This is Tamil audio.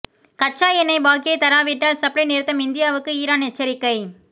கச்சா எண்ணெய் பாக்கியை தராவிட்டால் சப்ளை நிறுத்தம் இந்தியாவுக்கு ஈரான் எச்சரிக்கை